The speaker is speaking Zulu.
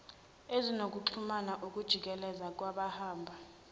ezinokuxhumana ukujikeleza kwabahamba